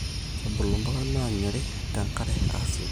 Kebulu imbuka naanyorii tengare asiokii